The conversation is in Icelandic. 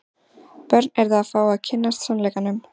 Börn yrðu að fá að kynnast sannleikanum.